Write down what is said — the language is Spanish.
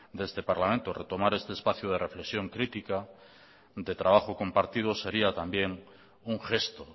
de este parlamento retomar este espacio de reflexión crítica de trabajo compartido sería también un gesto